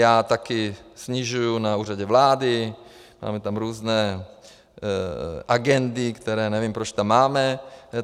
Já také snižuji na Úřadu vlády, máme tam různé agendy, které nevím, proč tam máme.